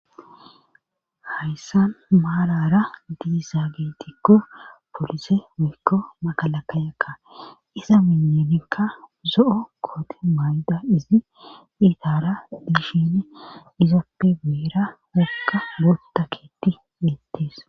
Hayssan maarara diisa geetikko polise woykko magalakka yakka iza miyanikka zo'o koote mayda izi diitara biishine izoppe beera wokka gootta keeti yeettees.